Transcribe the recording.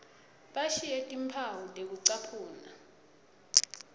bashiye timphawu tekucaphuna